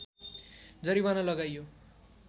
जरिवाना लगाइयो